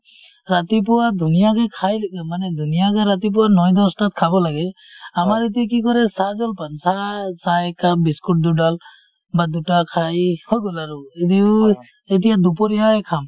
ৰাতিপুৱা ধুনীয়াকে খাই মানে ধুনীয়াকে ৰাতিপুৱা নয় দচ তাত খাব লাগে । আমাৰ এতিয়া কি কৰে চাহ জলপান, চাহ চাহ এক কাপ বিস্কুট দুডাল বা দুটা খাই হৈ গল আৰু এনেইও এতিয়া দুপৰীয়াই খাম,